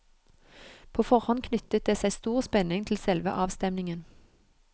På forhånd knyttet det seg stor spenning til selve avstemningen.